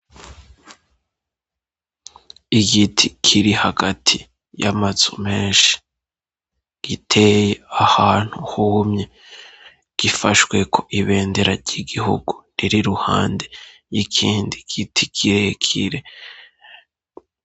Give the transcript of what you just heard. Igiti kiri hagati y'amazu menshi giteye ahantu humye, gifashweko ibendera ry'igihugu rir' iruhande y'ikindi giti kirekire.